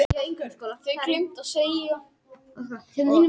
Hann átti sér mörg áhugamál og spilaði auk þess á fiðlu og skrifaði ljóð.